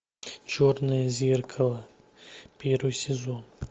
черное зеркало первый сезон